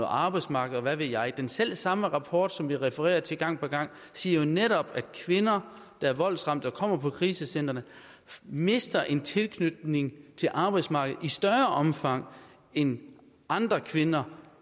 arbejdsmarkedet og hvad ved jeg den selv samme rapport som der bliver refereret til gang på gang siger jo netop at kvinder der er voldsramte og kommer på krisecentrene mister en tilknytning til arbejdsmarkedet i større omfang end andre kvinder